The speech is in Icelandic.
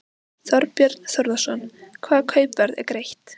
Þorbjörn Þórðarson: Hvaða kaupverð er greitt?